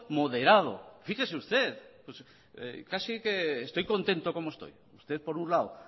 moderado fíjese usted casi que estoy contento como estoy usted por un lado